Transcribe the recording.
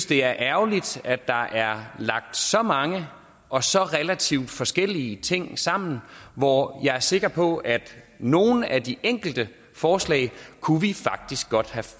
det er ærgerligt at der er lagt så mange og så relativt forskellige ting sammen hvor jeg er sikker på at nogle af de enkelte forslag kunne vi faktisk godt have